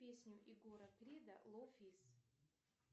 песню егора крида лов из